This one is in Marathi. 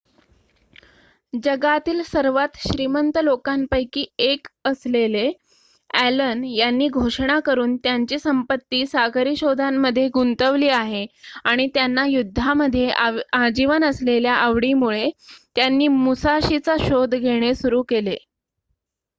जगातील सर्वात श्रीमंत लोकांपैकी एक असलेले ॲलन यांनी घोषणा करून त्यांची संपत्ती सागरी शोधांमध्ये गुंतवली आहे आणि त्यांना युद्धामध्ये आजीवन असलेल्या आवडीमुळे त्यांनी मुसाशीचा शोध घेणे सुरू केले